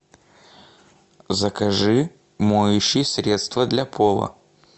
закажи моющее средство для пола